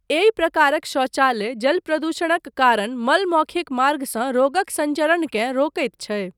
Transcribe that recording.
एहि प्रकारक शौचालय जल प्रदूषणक कारण मल मौखिक मार्गसँ रोगक संचरणकेँ रोकैत छै।